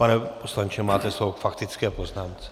Pane poslanče, máte slovo k faktické poznámce.